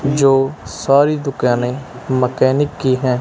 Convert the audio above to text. जो सारी दुकैनें मकैनिक की हैं।